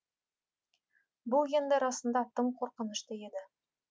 бұл енді расында тым қорқынышты еді